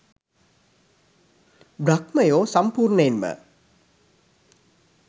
බ්‍රහ්මයෝ සම්පූර්ණයෙන්ම